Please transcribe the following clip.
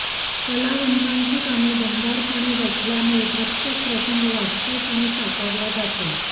कलावंतांची कामे दमदारपणे वठल्यामुळे प्रत्येक प्रसंग वास्तवपणे साकारला जातो